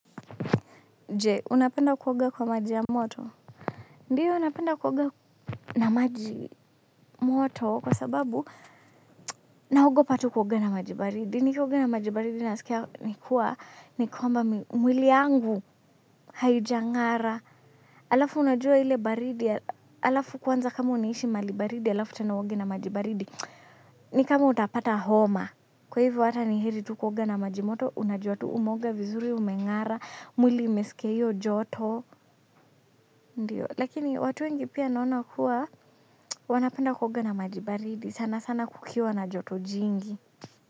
Je, unapenda kuoga kwa maji ya moto? Ndiyo, napenda kuoga na maji moto kwa sababu naogopa tu kuoga na maji baridi. Nikioga na maji baridi nasikia kuwa, ni kwamba mwili wangu haujang'ara. Halafu unajua ile baridi, halafu kwanza kwanza kama unaishi mahali baridi, halafu tena uoge na maji baridi. Ni kama utapata homa. Kwa hivyo hata na heri tu kuoga na maji ya moto, unajua tu umeoga vizuri, umeoga, mwili imesikia hiyo joto. Ndiyo. Lakini watu wengi pia naona kuwa wanapenda kuoga na maji baridi. Sana sana kukiwa na joto jingi.